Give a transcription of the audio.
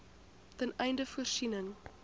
ten einde voorsiening